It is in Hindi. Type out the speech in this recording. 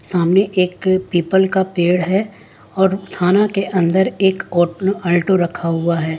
सामने एक पीपल का पेड़ है और थाना के अंदर एक औ अल्टो रखा हुआ है।